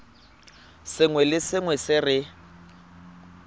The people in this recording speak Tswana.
sengwe le sengwe se re